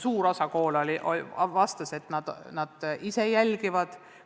Suur osa koole vastas, et nad ise jälgivad toimuvat.